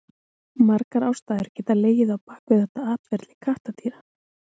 Margar ástæður geta legið á bak við þetta atferli kattardýra.